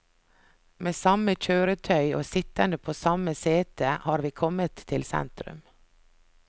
Med samme kjøretøy, og sittende på samme setet har vi kommet til sentrum.